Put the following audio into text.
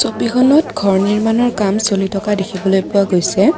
ছবিখনত ঘৰ নিৰ্মাণৰ কাম চলি থকা দেখিবলৈ পোৱা গৈছে।